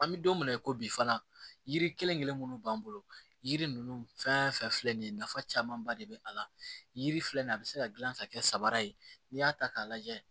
An bɛ don mina i ko bi fana yiri kelen kelen minnu b'an bolo yiri ninnu fɛn fɛn filɛ nin ye nafa camanba de bɛ a la yiri filɛ nin ye a bɛ se ka dilan ka kɛ sabara ye n'i y'a ta k'a lajɛ